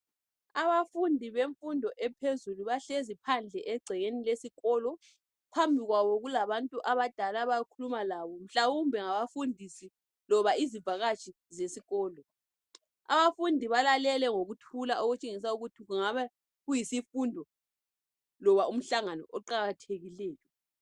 Abafundi bemfundo ephezulu bahlezi phandle egcekeni lesikolo. Phambi kwabo kulabantu abadala abakhuluma labo mhlawumbe ngabafundisi loba izivakatshi zesikolo. Abafundi balalele ngokuthula okutshengisa ukuthi kungaba kuyisifundo loba umhlangano oqakathekileyo.